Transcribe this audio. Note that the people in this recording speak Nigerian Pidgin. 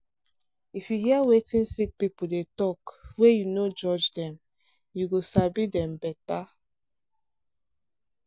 if you hear wetin sick person dey talk wey you no judge dem you go sabi dem better.